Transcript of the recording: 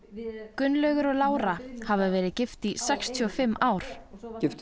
Gunnlaugur og Lára hafa verið gift í sextíu og fimm ár